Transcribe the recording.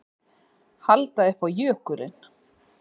Halda upp á jökulinn